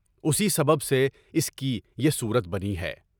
اسی سبب سے اس کی یہ صورت بنی ہے۔